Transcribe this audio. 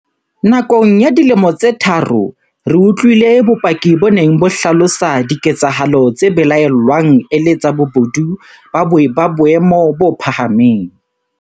Nakong ya dilemo tse tharo, re utlwile bopaki bo neng bo hlalosa diketsa halo tse belaellwang e le tsa bobodu ba boemo bo phahameng.